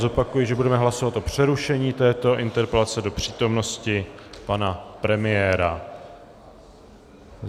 Zopakuji, že budeme hlasovat o přerušení této interpelace do přítomnosti pana premiéra.